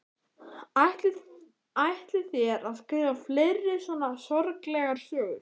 Ætlið þér að skrifa fleiri svona sorglegar sögur?